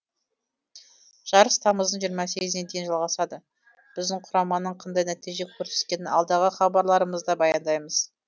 жарыс тамыздың жиырма сегізіне дейін жалғасады біздің құраманың қандай нәтиже көрсеткенін алдағы хабарларымызда баяндаймыз